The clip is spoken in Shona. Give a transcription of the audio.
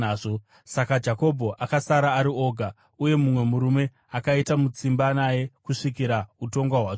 Saka Jakobho akasara ari oga, uye mumwe murume akaita mutsimba naye kusvikira utonga hwatsvuka.